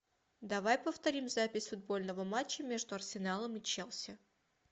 давай повторим запись футбольного матча между арсеналом и челси